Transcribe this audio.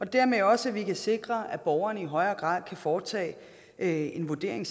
dermed også sikre at borgerne i højere grad selv kan foretage en vurdering